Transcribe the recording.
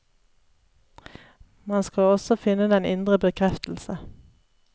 Man skal også finne den indre bekreftelse.